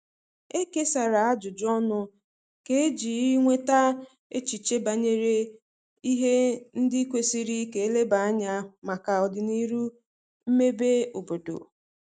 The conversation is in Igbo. E kesara ajụjụ ọnụ kà eji nweta echiche banyere ihe ndi kwesiri ka eleba anya maka odinihu mmebe obodo